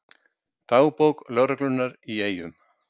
Dagbók lögreglunnar í Eyjum